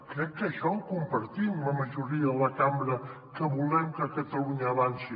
crec que això ho compartim la majoria de la cambra que volem que catalunya avanci